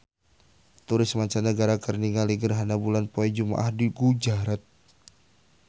Turis mancanagara keur ningali gerhana bulan poe Jumaah di Gujarat